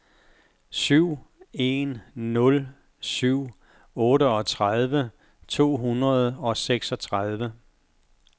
syv en nul syv otteogtredive to hundrede og seksogtredive